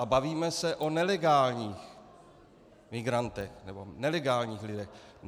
A bavíme se o nelegálních migrantech nebo nelegálních lidech.